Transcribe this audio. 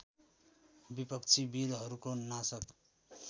विपक्षी वीरहरूको नाशक